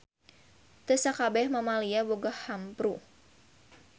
Teu sakabeh mamalia boga hampru.